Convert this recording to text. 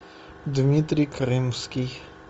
дмитрий крымский